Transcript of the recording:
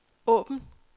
åbn